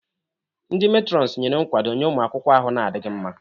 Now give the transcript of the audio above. Ndi metrons nyere nkwado nye ụmụ akwụkwọ ahụ na-adịghị mma.